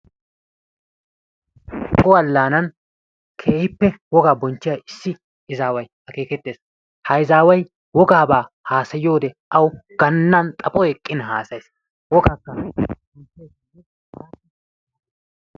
Humbbo Allanani keehippe wogaa bonchchiya issi izaway akeekettees. Ha izaaway wogaabaa haasayiyode aayyo gananni xaphoy eqqin haassayees....